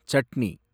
chutney